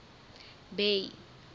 bay